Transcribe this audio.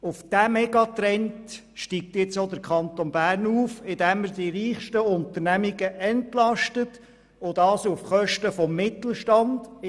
Diesem Megatrend folgt nun auch der Kanton Bern, indem er die reichsten Unternehmungen auf Kosten des Mittelstands entlastet.